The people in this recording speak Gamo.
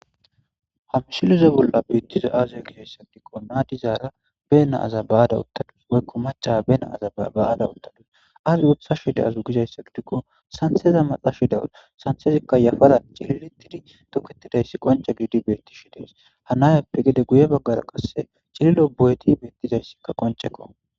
Issi maccashiya ba na'a ba'adda uttadusu sanththe maxxashe de'awusu.guye baggeraka cilliloy diizaysi bettes.